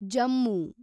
Jammu